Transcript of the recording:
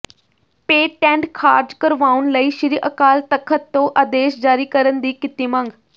patent ਖਾਰਜ ਕਰਵਾਉਣ ਲਈ ਸ਼੍ਰੀ ਅਕਾਲ ਤਖਤ ਤੋ ਆਦੇਸ਼ ਜਾਰੀ ਕਰਨ ਦੀ ਕੀਤੀ ਮੰਗ